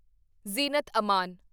Zeenat Aman